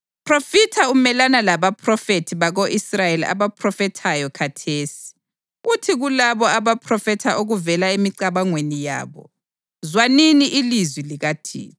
“Ndodana yomuntu, phrofitha umelana labaphrofethi bako-Israyeli abaphrofethayo khathesi. Uthi kulabo abaphrofetha okuvela emicabangweni yabo: ‘Zwanini ilizwi likaThixo!